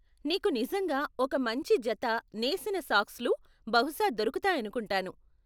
నీకు నిజంగా ఒక మంచి జత నేసిన సాక్స్లు బహుశా దొరుకుతాయనుకుంటాను.